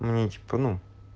мне типа ну